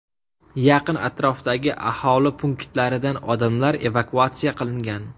Yaqin atrofdagi aholi punktlaridan odamlar evakuatsiya qilingan.